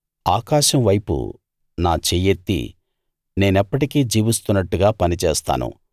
ఆకాశం వైపు నా చెయ్యెత్తి నేనెప్పటికీ జీవిస్తున్నట్టుగా పని చేస్తాను